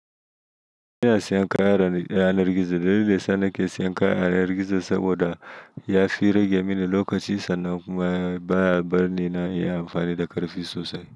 Ina siyan kaya a yanar gizo. Dalilin yasa nake siyan kaya a yanar gizo saboda yafi rage mini lokaci sannan kuma baya bar ni nayi amfani da ƙarfi sosai.